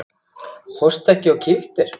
Fórstu ekki og kíktir?